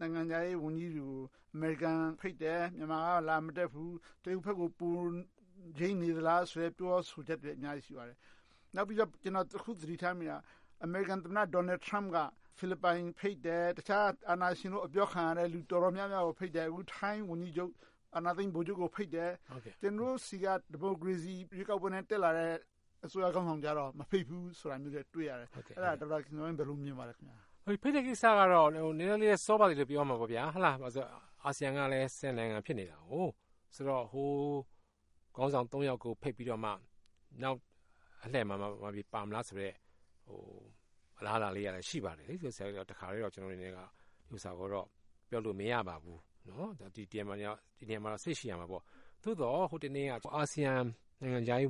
နိုင်ငံခြားရေး ဝန်ကြီးတွေကို အမေရိကန်က ဖိတ်တယ်။ မြန်မာက လာမတက်ဘူး။ တရုတ်ဘက်ကို ပိုယိမ်းနေသလားဆိုတဲ့ ပြောဆိုချက်တွေလဲ အများကြီး ရှိပါတယ်။ နောက်ပြီးတော့ ကျနော် တခု သတိထားမိတာက အမေရိကန်သမ္မတ Donald Trump က ဖိလစ်ပိုင်ကို ဖိတ်တယ်။ တခြား အာဏာရှင်လို့ အပြောခံရတဲ့ လူတော်တော်များများကို ဖိတ်တယ်။ အခု ထိုင်းဝန်ကြီးချုပ် အာဏာသိမ်း ဗိုလ်ချုပ်ကို ဖိတ်တယ်။ ကျနော်တို့ဆီက ဒီမိုကရေစီ ရွေးကောက်ပွဲနဲ့ တက်လာတဲ့ အစိုးရခေါင်းဆောင်ကြတော့ မဖိတ်ဘူးဆိုတာမျိုးလဲ တွေ့ရတယ်။ အဲဒါကို ဒေါက်တာခင်ဇော်ဝင်း ဘယ်လို မြင်ပါလဲ။ ဖိတ်တဲ့ကိစ္စကတော့ နည်းနည်းလေးတော့ စောသေးတယ်လို့ ပြောရလိမ့်မယ်။ ဘာဖြစ်လို့လဲဆိုတော့ အာဆီယံကလည်း နိုင်ငံ ဖြစ်နေတယ်။ ဟိုခေါင်းဆောင် ယောက်ကို ဖိတ်ပြီးတော့မှ နောက်အလှည့်မှာ ပါမလားဆိုတဲ့ အလားအလာလေးကလဲ ရှိပါတယ်။ တခါတည်းနဲ့ ပြောလို့မရပါဘူး။ ဒီနေရာမှာ စိတ်ရှည်ရမှာပေါ့။ သို့သော် ဟိုတနေ့က အာဆီယံဝ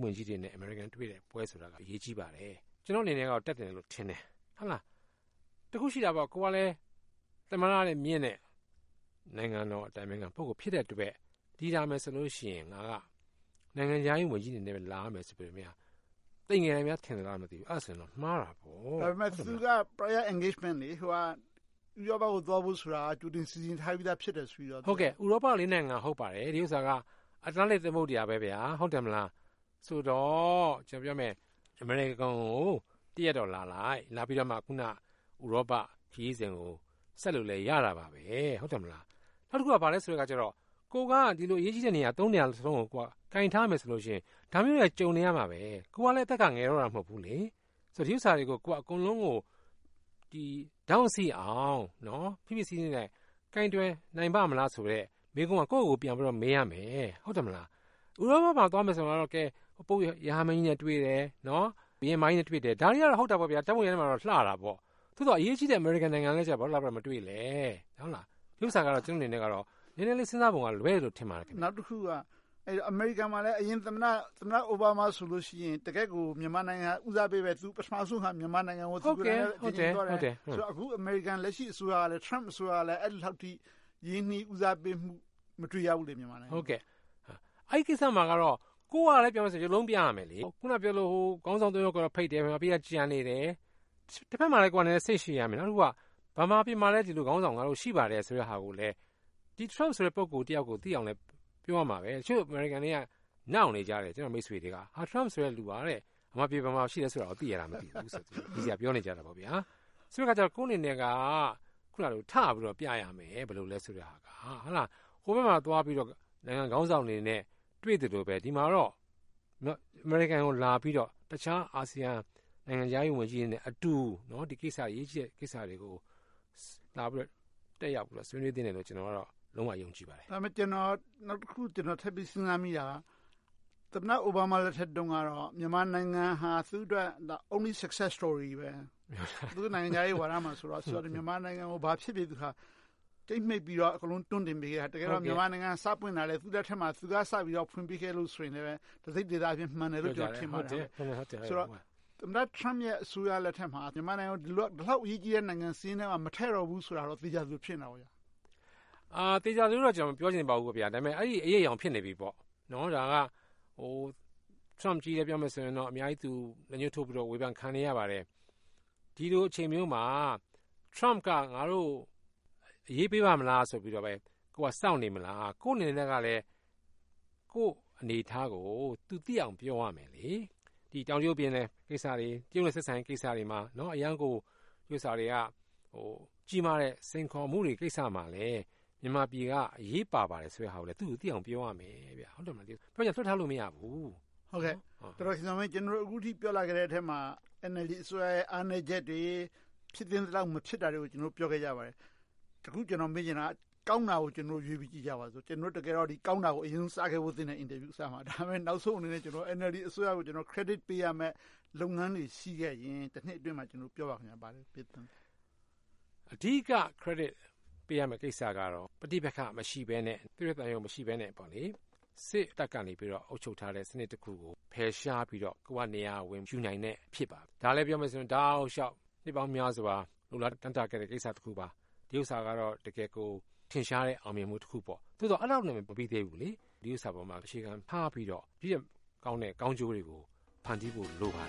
န်ကြီးတွေနဲ့ အမေရိကန် တွေ့တဲ့ပွဲဆိုတာ အရေးကြီးပါတယ်။ ကျနော့်အနေနဲ့ တက်တယ်လို့တော့ ထင်တယ်။ တခုရှိတာ ကိုယ်ကလဲ သမ္မတထက်မြင့်တဲ့ နိုင်ငံတော် အတိုင်ပင်ခံ ပုဂ္ဂိုလ် ဖြစ်တဲ့အတွက် ဒီလာမယ်ဆိုလို့ရှိရင် ငါက နိုင်ငံခြားရေးဝန်ကြီးအနေနဲ့ လာရမယ်ဆိုတာကို သိမ်ငယ်နေလား ထင်မလား မသိဘူး။ အဲဒါဆိုရင်တော့ မှားတာပေါ့။ ဒါပေမဲ့ သူက တိုက်ရိုက် Engagement.. ဥရောပကို သွားဖို့ဆိုတာ ကြိုတင်စီစဉ်ထားပြီဖြစ်တယ်ဆိုပြီးတော့… ဥရောပ နိုင်ငံ ဟုတ်ပါတယ်။ ဒီဥစ္စာက အတ္တလန်တိတ် သမုဒ္ဒရာပဲဆိုတော့ ကျနော်ပြောမယ် အမေရိကန်ကို တရက်တော့ လာလိုက်၊ လာပြီးတော့မှ အခုန ဥရောပခရီးစဉ်ကို ဆက်လို့လဲ ရပါတယ်။ နောက်တခုက ဘာလဲဆိုတော့ ကိုယ်က အရေးကြီးတဲ့နေရာ နေရာလုံးကို ကိုင်ထားမယ်ဆိုလို့ရှိရင် ဒါမျိုးက ကြုံနေရမှာပါပဲ။ သူကလဲ အသက်က ငယ်တော့တာ မဟုတ်ဘူးလေ။ ဒီဥစ္စာတွေကို အကုန်လုံးကို ထောင့်စိအောင် ဖိဖိစီးစီးနဲ့ ကိုင်တွယ်နိုင်ပါ့မလားဆိုတဲ့ မေးခွန်းက ကိုယ့်ကိုယ်ကိုယ် မေးရမယ်။ ဥရောပကို သွားမယ်ဆိုရင် ပုပ်ရဟန်းမင်းကြီးနဲ့ တွေ့တယ်။ ဘုရင်မကြီးနဲ့ တွေ့တယ်။ ဒါတွေက ဟုတ်တာပေါ့ ဓါတ်ပုံထဲမှာတော့ လှတာပေါ့။ သို့သော် အရေးကြီးတဲ့ အမေရိကန်နိုင်ငံကိုတော့ ဘာဖြစ်လို့ လာမတွေ့လဲ။ ဒီဥစ္စာက ကျနော့်အနေနဲ့ နည်းနည်းလေး စဉ်းစားပုံ လွဲနေတယ်လို့ ထင်ပါတယ်။ နောက်တခုက အမေရိကန်မှာလည်း အရင်သမ္မတ Obama ဆိုရင် တကယ့်ကို မြန်မာနိုင်ငံ ဦးစားပေးပဲ။ သူ ပထမဦးဆုံး မြန်မာနိုင်ငံကို သွားခဲ့တယ်။ အခု အမေရိကန် လက်ရှိအစိုးရကလဲ အဲဒီလောက်ထိ ဦးစားပေးမှု မတွေ့ရဘူးလေ။ အဲဒီကိစ္စမှာ ကိုယ်ကလဲ ရုပ်လုံးပြရမယ်လေ။ အခုနပြောသလို ဟိုခေါင်းဆောင် သုံးယောက်ကို ဖိတ်တယ်။ နောက်ပြီးတော့ ကျန်နေတယ်။ တဘက်မှာလဲ ကိုယ်က စိတ်ရှည်ရမယ်။ နောက်တခုက ဗမာပြည်မှာလည်း ဒီလိုခေါင်းဆောင် ရှိတယ်ဆိုတာကိုလည်း Trump ဆိုတဲ့ ပုဂ္ဂိုလ်သိအောင်လည်း ပြောရမှာပဲ။ တချို့ အမေရိကန်တွေက နှောက်နေကြတယ်။ ကျနော့်မိတ်ဆွေတွေက Trump ဆိုတဲ့လူက ဗမာပြည် ဘယ်မှာရှိလဲဆိုတာ သိရလား မသိဘူးတဲ့။ ရယ်စရာ ပြောနေကြတယ်။ အဲဒီတော့ ကိုယ့်အနေနဲ့ ထပြီးတော့ ပြရမယ်။ ဘယ်လိုလဲ အစိုးရဆိုတာ။ ဟိုဘက်မှာ သွားပြီးတော့ နိုင်ငံခေါင်းဆောင်တွေနဲ့ တွေ့သလိုပဲ ဒီမှာတော့ အမေရိကန်ကို လာပြီးတော့ အခြား အာဆီယံနိုင်ငံခြားရေးဝန်ကြီးတွေနဲ့အတူ အရေးကြီးတဲ့ ကိစ္စတွေကို တက်ရောက်ဆွေးနွေးသင့်တယ်လို့ ကျနော်က လုံးဝယုံကြည်ပါတယ်။ ဒါပေမဲ့ ကျနော် နောက်တခု ထပ်ပြီးစဉ်းစားမိတာက သမ္မတ Obama လက်ထက်တုန်းကတော့ မြန်မာနိုင်ငံဟာ သူ့အတွက် Only Success Story ပဲ။ သူတို့ နိုင်ငံခြားရေးဝါဒမှာ မြန်မာနိုင်ငံကို ဘာဖြစ်နေပါစေ… ကြိတ်မှိတ်ပြီးတော့ တွန်းပြီးတင်ပေးခဲ့တာ။ တကယ်တော့ မြန်မာနိုင်ငံ သူ့လက်ထက်မှာ စပွင့်လာတယ်။ သူက စပြီးဖွင့်ပေးခဲ့လို့ဆိုတာလဲ တစိတ်တဒေသအားဖြင့် မှန်တယ်။ ဆိုတော့ သမ္မတ Trump ရဲ့ အစိုးရလက်ထက်မှာ မြန်မာနိုင်ငံကို ဘယ်လောက် အရေးကြီးတဲ့ စာရင်းထဲမှာ မထည့်တော့ဘူးဆိုတာတော့ သေချာသလောက် ဖြစ်နေတာပေါ့။ သေချာတယ်လို့တော့ မပြောချင်ပါဘူး။ ဒါပေမဲ့ အဲဒီအရိပ်အရောင် ဖြစ်နေပြီပေါ့။ ဒါက Trump ကြီးပဲ ပြောနေရင်တော့ အများကြီး ဝေဖန်ခံနေရပါတယ်။ ဒီလို အချိန်မျိုးမှာ Trump က ငါတို့ကို အရေးပေးရမလား ဆိုတာပဲ ကိုယ်က စောင့်နေမလား။ ကိုယ့်အနေနဲ့ ကိုယ့်အနေအထားကို သူသိအောင် ပြောရမယ်လေ။ တောင်တရုတ်ပင်လယ် ကိစ္စတွေ၊ တရုတ်နဲ့ ဆက်ဆံရေးကိစ္စတွေမှာ ကြီးမားတဲ့ စိန်ခေါ်မှုတွေ ကိစ္စတွေမှာ မြန်မာပြည်က အရေးပါတယ်ဆိုတာကို သူကို သိအောင်ပြောရမယ်။ လွှတ်ထားလို့ မရဘူး။ ကျနော်တို့ အခုထိ ပြောလာခဲ့တဲ့ အထဲမှာ NLD အစိုးရရဲ့ အားနည်းချက်တွေ၊ ဖြစ်သင့်သလောက် မဖြစ်တာတွေကို ပြောခဲ့ကြပါတယ်။ တခု ကျနော် မေးချင်တာက ကောင်းတာကို ကျနော်တို့ ရွေးပြီးကြည့်ကြပါစို့။ တကယ်တော့ ကောင်းတာကို အရင်ဆုံး စခဲ့ဖို့ သင့်တယ်။ အင်တာဗျူး အစမှာ။ ဒါပေမဲ့ နောက်ဆုံးအနေနဲ့ NLD အစိုးရကို Credit ပေးရမယ့် လုပ်ငန်းတွေ ရှိခဲ့ရင် တနှစ်အတွင်းမှာ ဘာတွေများ ရှိခဲ့ပါလဲ။ အဓိက Credit ပေးရမယ့် ကိစ္စကတော့ ပဋိပက္ခ မရှိဘဲနဲ့ စစ်တပ်ကနေ အုပ်ချုပ်ထားတဲ့ စနစ်တခုကို ဖယ်ရှားပြီးတော့ ကိုယ်ကနေရာ ဝင်ယူနိုင်တဲ့ အဖြစ်ပါ။ ဒါလဲ ပြောမယ်ဆိုရင် တောက်လျှောက် နှစ်ပေါင်းများစွာ လိုလာတမ်းတခဲ့တဲ့ ကိစ္စတခုပါ။ ဒီဥစ္စာကတော့ တကယ်ကို ထင်ရှားတဲ့ အောင်မြင်မှု တခုပေါ့။ သို့သော် အဲဒီလောက်နဲ့ မပြီသေးဘူးလေ။ ဒီဥစ္စာပေါ် အခြေခံထားပြီးတော့ ဒီထက်ကောင်းတဲ့ ကောင်းကျိုးတွေကို ဖန်တီးဖို့ လိုပါတ